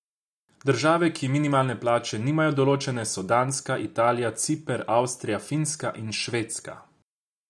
Države, ki minimalne plače nimajo določene, so Danska, Italija, Ciper, Avstrija, Finska in Švedska.